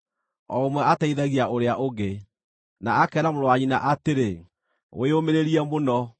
o ũmwe ateithagia ũrĩa ũngĩ, na akeera mũrũ wa nyina atĩrĩ, “Wĩyũmĩrĩrie mũno!”